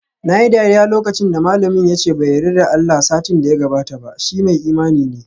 Nayi dariya lokacin da malamina yace bai yarda da Allah satin da ya gabata ba, shi mai imani ne